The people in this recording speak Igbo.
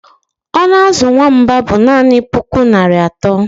Ọnụ azụ nwamba bụ naanị puku naira atọ